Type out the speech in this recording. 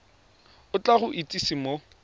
o tla go itsise mo